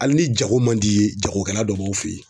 Hali ni jago man d'i ye jagokɛla dɔ b'aw fe ye.